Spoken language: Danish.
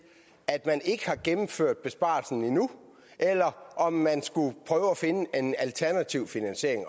at man ikke har gennemført besparelsen endnu eller om man skulle prøve at finde en alternativ finansiering